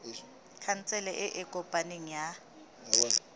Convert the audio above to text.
khansele e e kopaneng ya